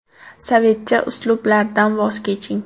Sovetcha uslublardan voz keching.